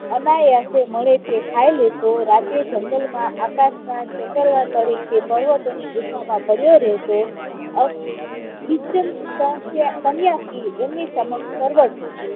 અનાયાસે મળે તે ખાઈ લેતો, રાતે jungle માં આકાશમાં તળે તે પર્વતોની ગુફામાં પડયો રહેતો, સંન્યાસી એમની સમક્ષ